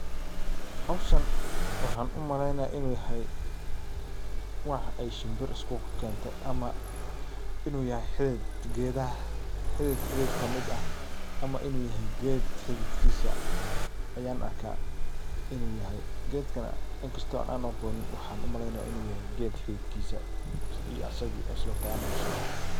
Hawshan waxaan u malaynaya inu yahay wax ay shimbir iskukakeente ama inu yahay xidid geedaha xidid xidid kamid ah ama inu yahay geed xididkiisa ayan arka inu yahay geedkan inkasto aan aqoonin waxaan umalaynaya inu yahay geed xididkiisa iyo asago is wataan u so bexe.